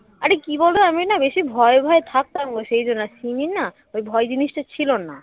অরে কি বলতো আমি না বেশি ভয়ে ভয়ে থাকতাম গো সেই জন্য সিমির না ওই ভয় জিনিসটা ছিল না